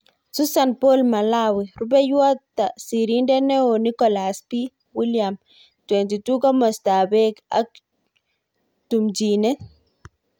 Susan Paul Mlawi. Rupeiywot sirindeet neoo-Nicholaus B.,William.22Komostap peek ak tumchinet.